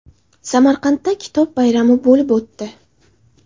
Samarqandda Kitob bayrami bo‘lib o‘tdi.